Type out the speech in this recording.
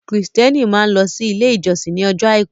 Kristiẹni máa ń lọ sí ilé ìjósìn ní ọjọ́ àìkú.